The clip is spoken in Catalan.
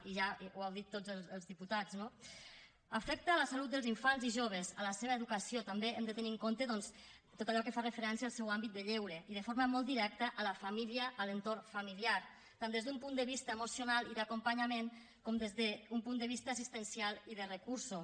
i ja ho heu dit tots els diputats no afecta la salut dels infants i joves la seva educació també hem de tenir en compte doncs tot allò que fa referència al seu àmbit de lleure i de forma molt directa a la família a l’entorn familiar tant des d’un punt de vista emocional i d’acompanyament com des d’un punt de vista assistencial i de recursos